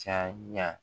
Caya